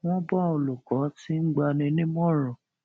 wón bá olùkó tí n gba ni nímọràn